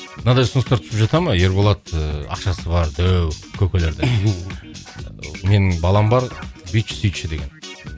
мынандай ұсыныстар түсіп жата ма ерболат ыыы ақшасы бар дәу көкелерден менің балам бар бүйтші сөйтші деген